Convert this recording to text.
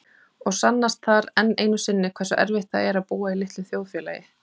Og sannast þar enn einu sinni hversu erfitt það er að búa í litlu þjóðfélagi.